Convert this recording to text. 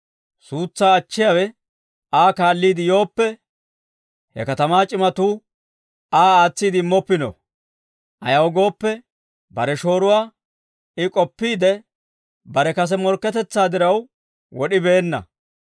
Suutsaa achchiyaawe Aa kaalliide yooppe, he katamaa c'imatuu Aa aatsiide immoppino. Ayaw gooppe, bare shooruwaa I k'opiidde, bare kase morkketetsaa diraw wod'ibeenna.